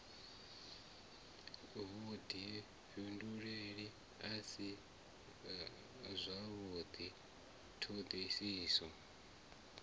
vhudifhinduleli a si zwavhudi thodisiso